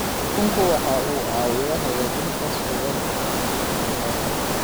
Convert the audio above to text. Kalluunku waxa uu caawiyaa hagaajinta sugnaanta cuntada.